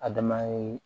Adama ye